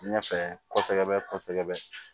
Ɲɛfɛ kɔsɛbɛ kɔsɛbɛ